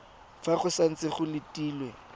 fa go santse go letilwe